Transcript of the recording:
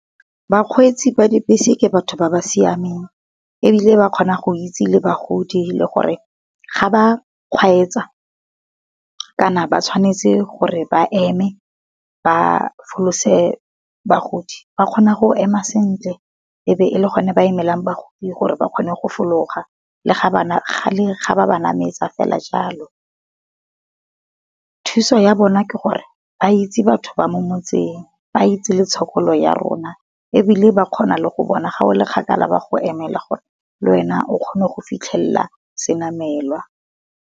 Bakgweetsi ba dibese ke batho ba ba siameng, ebile ba kgona go itse le bagodi le gore ga ba kgweetsa, kana ba tshwanetse gore ba eme ba folose bagodi, ba kgona go ema sentle e be e le gone ba emelang bagodi gore ba kgone go fologa. Le ga ba ba nametsa fela jalo. Thuso ya bona ke gore ba itse batho ba mo motseng, ba itse le tshokolo ya rona ebile ba kgona le go bona ga o le kgakala ba go emela gore le wena o kgone go fitlhelela senamelwa.